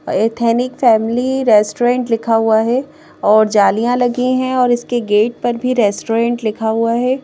Ethnic family restaurant लिखा हुआ है और जालियां लगी हैं और इसके गेट पर भी रेस्टोरेंट लिखा हुआ है।